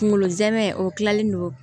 Kunkolo zɛmɛ o kilalen don